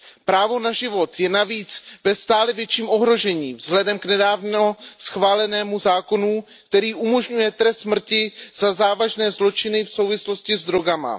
Právo na život je navíc ve stále větším ohrožení vzhledem k nedávno schválenému zákonu, který umožňuje trest smrti za závažné zločiny v souvislosti s drogami.